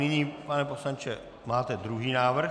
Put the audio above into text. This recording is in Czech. Nyní pane poslanče, máte druhý návrh.